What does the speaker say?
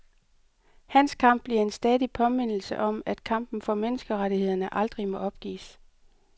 Hans kamp bliver en stadig påmindelse om, at kampen for menneskerettighederne aldrig må opgives.